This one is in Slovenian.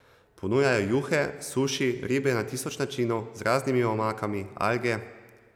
Ponujajo juhe, suši, ribe na tisoč načinov z raznimi omakami, alge...